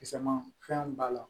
Kisɛ ma fɛn b'a la